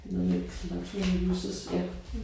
Det er noget med natural users ja